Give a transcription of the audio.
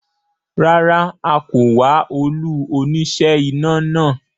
Rárá, a kò wá olú oníṣẹ́ iná náà